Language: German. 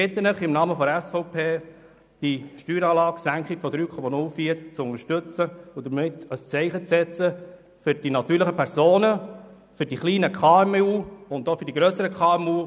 Ich bitte Sie im Namen der SVP, die Steueranlagesenkung in der Höhe von 3,04 zu unterstützen und damit ein Zeichen zu setzen für die natürlichen Personen, für die kleinen und auch die grösseren KMU.